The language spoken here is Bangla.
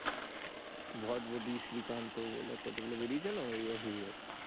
ভটভটি শ্রীকান্ত বলে কতগুলি বেরিয়েছে না ওইরম hero